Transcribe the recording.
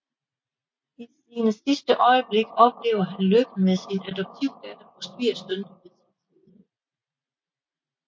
I sine sidste øjeblikke oplever han lykken med sin adoptivdatter og svigersøn ved sin side